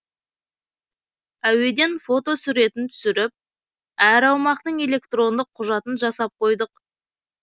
әуеден фотосуретін түсіріп әр аумақтың электрондық құжатын жасап қойдық